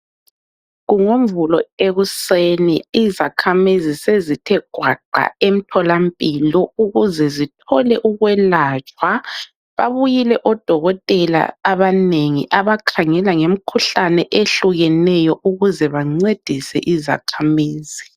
KunguMvulo ekuseni izakhamizi sezithe gwaqa emtholampilo ukuze zithole ukwelatshwa. Babuyile odokotela abanegi abakhangela nge mikhuhlane ehlukeneyo ukuze bancedise izakhamizi.